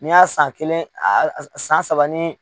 N'i y'a san kelen san saba ni